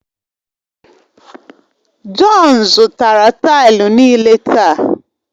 Jọn zụtara taịlu niile taa